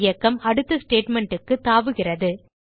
பின் இயக்கம் அடுத்த statementக்குத் தாவுகிறது